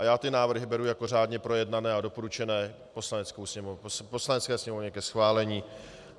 A já ty návrhy beru jako řádně projednané a doporučené Poslanecké sněmovně ke schválení.